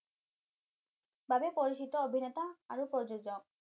বাবে পৰিচিত অভিনেতা আৰু প্ৰযোজক